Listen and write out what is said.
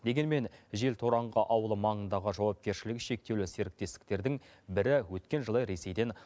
дегенмен желтораңғы ауылы маңындағы жауапкершілігі шектеулі серіктестіктердің бірі өткен жылы ресейден